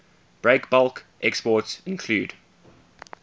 breakbulk exports include